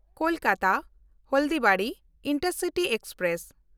ᱠᱳᱞᱠᱟᱛᱟ–ᱦᱚᱞᱰᱤᱵᱟᱲᱤ intercity express